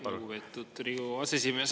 Lugupeetud Riigikogu aseesimees!